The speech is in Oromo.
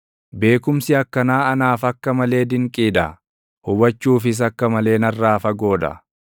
Beekumsi akkanaa anaaf akka malee dinqii dha; hubachuufis akka malee narraa fagoo dha.